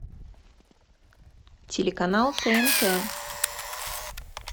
телеканал тнт